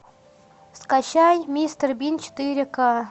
скачай мистер бин четыре ка